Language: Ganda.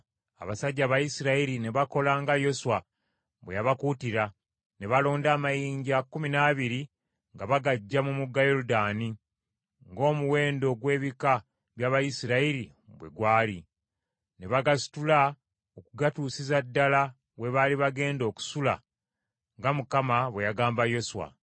Abasajja Abayisirayiri ne bakola nga Yoswa bwe yabakuutira, ne balonda amayinja kkumi n’abiri nga bagaggya mu mugga Yoludaani ng’omuwendo gw’ebika by’Abayisirayiri bwe gwali. Ne bagasitula okugatuusiza ddala we baali bagenda okusula nga Mukama bwe yagamba Yoswa.